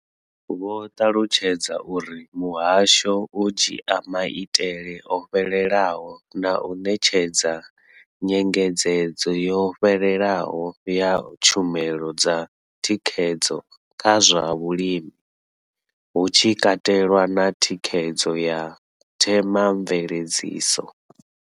Vho ṱalutshedza uri muhasho u dzhia maitele o fhelelaho na u ṋetshedza nyengedzedzo yo fhelelaho ya tshumelo dza thikhedzo kha zwa vhulimi, hu tshi katelwa na thikhedzo ya themamveledziso.